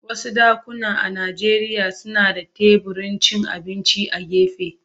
Wasu dakuna a Najeriya suna da teburin cin abinci a gefe.